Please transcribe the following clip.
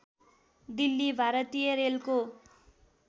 दिल्ली भारतीय रेलको